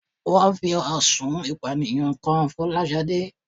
Wón fi ẹ̀sùn ìpànìyàn kan Fọláṣadé